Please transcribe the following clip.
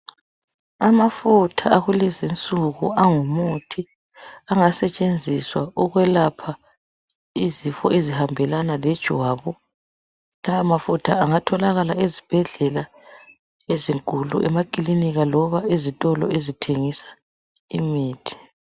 Amafutha akulezinsuku angumuthi angasetshenziswa ukwelapha izifo ezihambelana lejwabu lamafutha angatholakala ezibhedlela loba ezitolo ezithengisa imithi